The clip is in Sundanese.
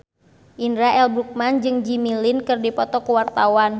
Indra L. Bruggman jeung Jimmy Lin keur dipoto ku wartawan